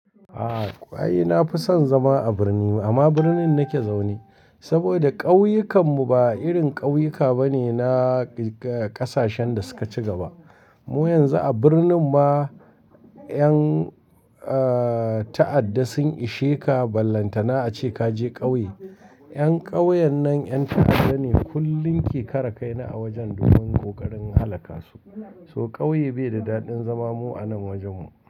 A'a, ƙwai na fi son zama a birni amma birnin na ke zaune. Saboda ƙauyukan mu ba irin ƙauyuka ba ne na ƙasashen da suka ci gaba. Mu yanzu a birnin ma ƴan, eh, ta'adda sun ishe ka, ballanta na a ce ka je ƙauye. 'Yan ƙauyen nan ƴan ta'adda ne, kullum ke karekaina a wajen domin ƙoƙarin halaka su. So ƙauye bai da daɗin zama mu a nan wajen mu.